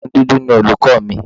Obìnrin dúdú ni olùkọ́ mi.